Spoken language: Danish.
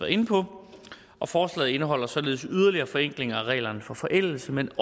inde på og forslaget indeholder således yderligere forenklinger af reglerne for forældelse men